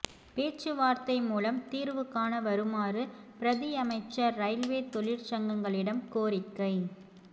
பேச்சுவார்த்தை மூலம் தீர்வு காண வருமாறு பிரதியமைச்சர் ரயில்வே தொழிற்சங்கங்களிடம் கோரிக்கை